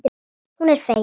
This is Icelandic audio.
Hún er fegin.